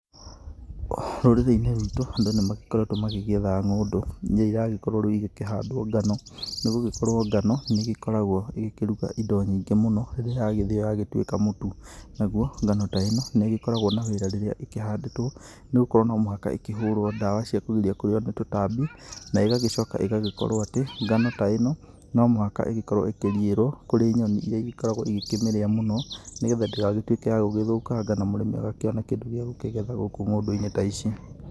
Rũrĩrĩ-inĩ rwitũ andũ nĩ magĩkoretwo magĩgĩetha ngũndũ, ĩrĩa iragĩkorwo rĩu ĩgĩkĩhandwo ngano nĩ gũgĩkorwo ngano nĩ igĩkoragwo igĩkĩruta indo nyingĩ mũno rĩrĩa yagĩthĩo yagĩtuĩka mũtu. Naguo ngano ta ĩno nĩ ĩgĩkoragwo na wĩra rĩrĩa ĩkĩhandĩtwo, nĩ gũkorwo no mũhaka ĩkĩhũrwo dawa cia kũgiria kũrĩo nĩ tũtambi, na ĩgagĩcoka ĩgagĩkorwo atĩ, ngano ta ĩno no mũhaka ĩgĩkorwo ĩkĩriĩrwo kũrĩ nyoni ĩrĩa ĩkoragwo igĩkĩmĩrĩa mũno, nĩgetha ndĩgagĩtuĩke ya gũgĩthũkanga na mũrĩmi agakĩona kĩndũ gĩa gũkĩgetha gũkũ ng'ũndũ-inĩ ta ici.